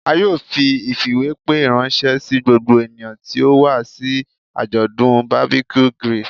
A yoo fi ifiwepe ranṣẹ si gbogbo eniyan ti o wa si ajọdun barbeque grill